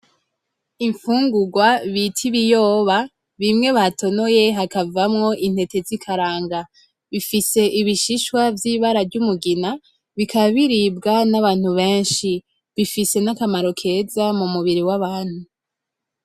Imfungugwa bita ibiyoba bimwe batonoye hakavamwo intete zikaranga .Bifise ibishishwa vyibara ry'umugina, bikaba biribga n'abantu benshi bifise nakamaro keza mu mubiri wabantu.